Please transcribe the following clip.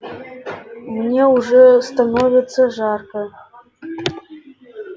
мне уже становится жарко